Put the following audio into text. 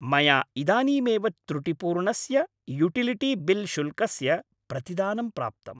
मया इदानीमेव त्रुटिपूर्णस्य युटिलिटी बिल् शुल्कस्य प्रतिदानं प्राप्तम्।